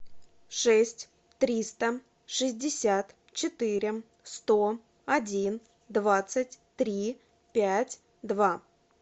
шесть триста шестьдесят четыре сто один двадцать три пять два